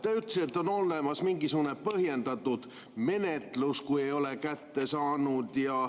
Te ütlesite, et on olemas mingisugune põhjendatud menetlus, kui ei ole kätte saanud.